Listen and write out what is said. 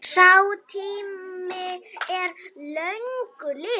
Sá tími er löngu liðinn.